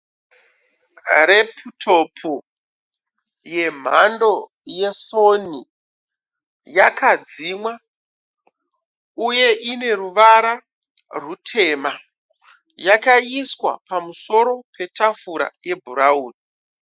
Reputopu yemhando ye soni , yakadzimwa uye ine ruvara rutema. Yakaiswa pamusoro petafura yebhurauni.